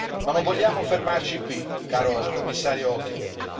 Ma non vogliamo fermarci qui, caro Commissario Oettinger.